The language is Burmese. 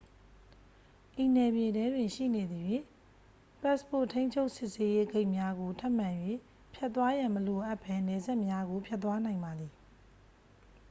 ဤနယ်မြေထဲတွင် ရှိနေသရွေ့ ပတ်စ်ပို့ ထိန်းချုပ်စစ်ဆေးရေး ဂိတ်များကို ထပ်မံ၍ ဖြတ်သွားရန် မလိုအပ်ဘဲ နယ်စပ်များကို ဖြတ်သွားနိုင်ပါသည်